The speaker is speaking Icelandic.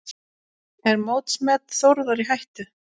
Er mótsmet Þórðar í hættu?